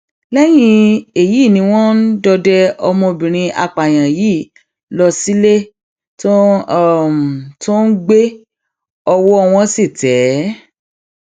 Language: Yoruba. lẹyìn èyí ni wọn um dọdẹ ọmọbìnrin apààyàn yìí lọ sílé tó tó ń gbé ọwọ um wọn sì tẹ ẹ